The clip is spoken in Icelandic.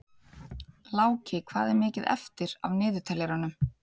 Láki, hvað er mikið eftir af niðurteljaranum?